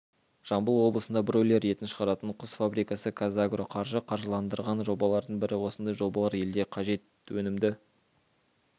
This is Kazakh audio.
жамбыл облысында бройлер етін шығаратын құс фабрикасы қазагроқаржы қаржыландырған жобалардың бірі осындай жобалар елде қажет өнімді